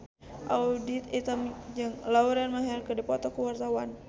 Audy Item jeung Lauren Maher keur dipoto ku wartawan